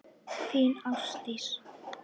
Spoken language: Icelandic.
Þín Ásdís.